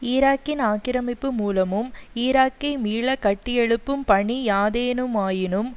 ஈராக்கின் ஆக்கிரமிப்பு மூலமும் ஈராக்கை மீள கட்டியெழுப்பும் பணி யாதேனுமாயினும்